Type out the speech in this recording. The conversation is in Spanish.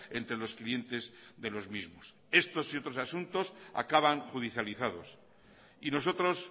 entre los clientes de los mismos estos y otros asunto acaban judicializados y nosotros